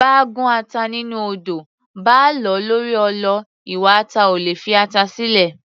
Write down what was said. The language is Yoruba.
Báa gún ata nínú odó, báa lọ̀ ọ́ lórí ọlọ, iwa ata ò ní fi ata sílẹ̀